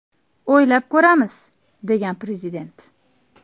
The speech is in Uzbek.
O‘ylab ko‘ramiz”, degan prezident.